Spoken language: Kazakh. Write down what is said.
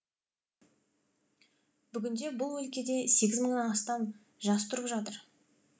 бүгінде бұл өлкеде сегіз мыңнан астам жас тұрып жатыр